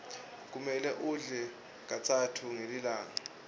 kumele udle katsatfu ngelilanga